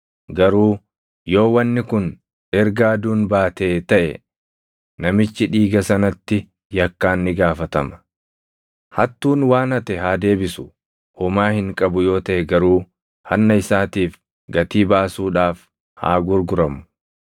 garuu yoo wanni kun erga aduun baatee taʼe, namichi dhiiga sanatti yakkaan ni gaafatama. “Hattuun waan hate haa deebisu; homaa hin qabu yoo taʼe garuu hanna isaatiif gatii baasuudhaaf haa gurguramu.